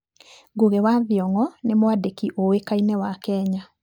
Ngugi wa Thiong'o nĩ mwandĩki ũĩkaine wa Kenya.